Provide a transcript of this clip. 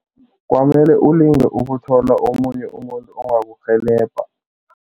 Kwamele ulinge ukuthola omunye umuntu ongakurhelebha.